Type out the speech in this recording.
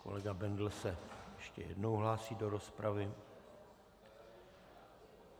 Kolega Bendl se ještě jednou hlásí do rozpravy.